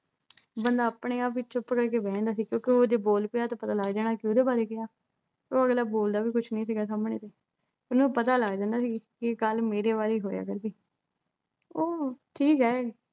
ਬੰਦਾ ਆਪਣੇ-ਆਪ ਵਿੱਚ ਚੁੱਪ ਕਰ ਕੇ ਬਹਿ ਜਾਂਦਾ ਸੀ ਕਿਉਂਕਿ ਜੇ ਬੋਲ ਪਿਆ ਤਾਂ ਪਤਾ ਲੱਗ ਜਾਣਾ ਕਿ ਇਹਦੇ ਬਾਰੇ ਕਿਹਾ ਕਿਉਂ ਅਗਲਾ ਬੋਲਦਾ ਵੀ ਕੁੱਝ ਨਹੀਂ ਸੀਗਾ ਸਾਹਮਣੇ ਤੋਂ ਫਿਰ ਉਹਨੂੰ ਪਤਾ ਲੱਗ ਜਾਂਦਾ ਵੀ ਇਹ ਗੱਲ ਮੇਰੇ ਬਾਰੇ ਹੀ ਹੋਇਆ ਕਰੂਗੀ ਉਹ ਕੀ ਐ